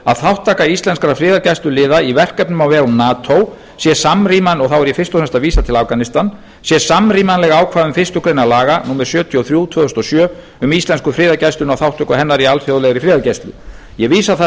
að þátttaka íslenskra friðargæsluliða í verkefnum á vegum nato og þá er ég fyrst og fremst að vísa til afganistan sé samrýmanleg ákvæðum fyrstu grein laga númer sjötíu og þrjú tvö þúsund og sjö um íslensku friðargæsluna og þátttöku hennar í alþjóðlegri friðargæslu ég vísa þar